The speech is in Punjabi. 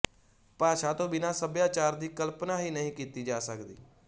ਭਾਸ਼ਾ ਤੋਂ ਬਿਨਾਂ ਸਭਿਆਚਾਰ ਦੀ ਕਲਪਨਾ ਹੀ ਨਹੀਂ ਕੀਤੀ ਜਾ ਸਕਦੀ